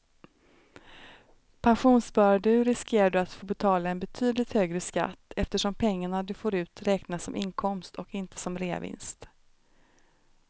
Pensionssparar du riskerar du att få betala en betydligt högre skatt eftersom pengarna du får ut räknas som inkomst och inte som reavinst.